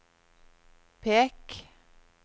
pek